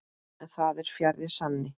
En það er fjarri sanni.